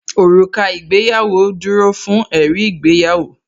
Òrùka ìgbéyàwó dúró fún ẹ̀rí ìgbéyàwó